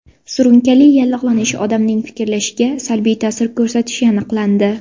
Surunkali yallig‘lanish odamning fikrlashiga salbiy ta’sir ko‘rsatishi aniqlandi.